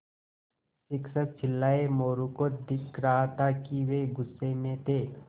शिक्षक चिल्लाये मोरू को दिख रहा था कि वे गुस्से में थे